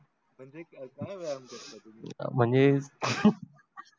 म्हणजे कसा व्यायाम करता तुम्ही मंझे